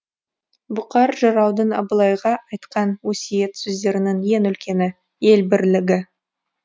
бұқар жыраудың абылайға айтқан өсиет сөздерінің ең үлкені ел бірлігі